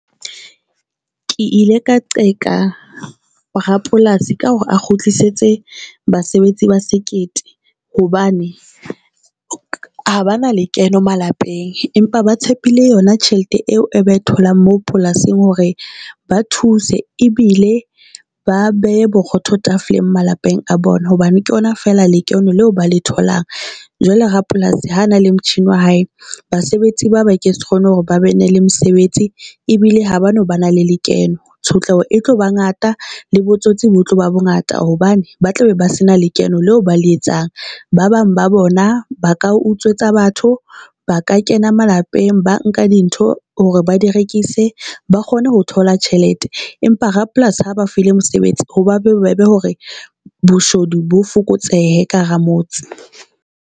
Ke ile ka qeka Rapolasi ka hore a kgutlisetse basebetsi ba sekete hobane ha ba na lekeno malapeng empa ba tshepile yona tjhelete eo e tholang moo polasing. Hore ba thuse ebile ba behe borotho tafoleng malapeng a bona, hobane ke yona fela lekono leo ba le tholang. Jwale Rapolasi ha na le motjhini wa hae basebetsi ba ba ke se kgone hore ba bene le mosebetsi ebile ha bano ba na le lekeno. Tshotleho e tlo ba ngata le botsotsi bo tlo ba bo ngata hobane ba tla be ba se na lekeno leo ba le etsang. Ba bang ba bona ba ka utswetsa batho ba ka kena malapeng, ba nka di ntho hore ba di rekise ba kgone ho thola tjhelete. Empa ha Rapolasi a ba file mosebetsi hoba be bobebe hore boshodu bo fokotsehe ka hara motse.